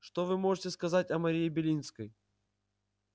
что вы можете сказать о марии белинской